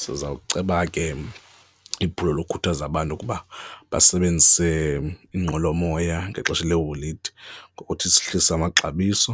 Sizawuceba ke iphulo lokukhuthaza abantu ukuba basebenzise iinqwelomoya ngexesha leeholide ngokuthi sihlise amaxabiso,